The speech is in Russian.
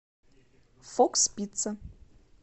фокс пицца